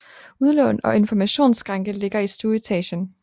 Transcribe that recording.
Udlån og informationsskranke ligger i stueetagen